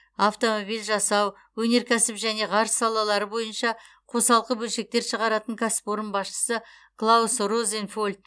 автомобиль жасау өнеркәсіп және ғарыш салалары бойынша қосалқы бөлшектер шығаратын кәсіпорын басшысы клаус розенфельд